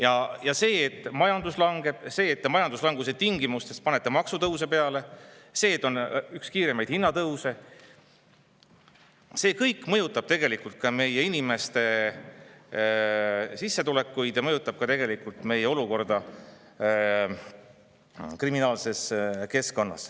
Ja kõik see, et majandus langeb, see, et majanduslanguse tingimustes panete maksutõuse peale, see, et meil on üks kiiremaid hinnatõuse, mõjutab tegelikult meie inimeste sissetulekuid ja.